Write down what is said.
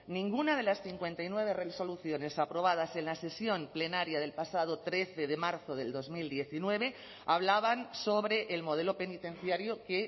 ninguna de las cincuenta y nueve resoluciones aprobadas en la sesión plenaria del pasado trece de marzo del dos mil diecinueve hablaban sobre el modelo penitenciario que